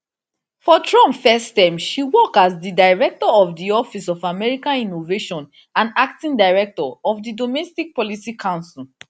for trump first first term she work as di director of di office of american innovation and acting director of di domestic policy council